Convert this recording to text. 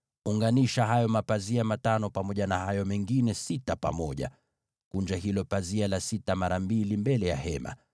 Unganisha hayo mapazia matano yawe fungu moja, na hayo mengine sita yawe fungu lingine. Kunja hilo pazia la sita mara mbili mbele ya maskani.